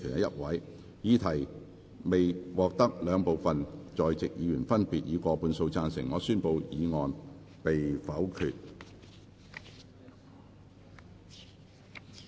由於議題未獲得兩部分在席議員分別以過半數贊成，他於是宣布修正案被否決。